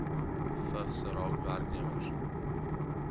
vigs raak werknemers